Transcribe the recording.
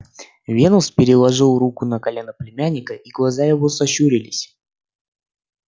венус переложил руку на колено племянника и глаза его сощурились